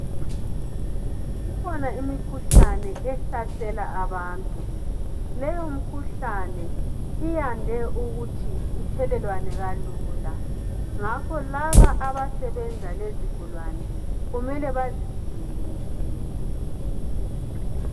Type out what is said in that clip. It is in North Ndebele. ikhona imikhuhlane ehlasela abantu leyo mkhuhlane iyande ukuthi ithelelwane kalula ngakho laba abasebenza lezigulane kumele bazivikele ngempela